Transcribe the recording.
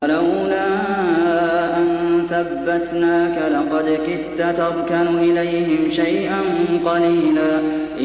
وَلَوْلَا أَن ثَبَّتْنَاكَ لَقَدْ كِدتَّ تَرْكَنُ إِلَيْهِمْ شَيْئًا قَلِيلًا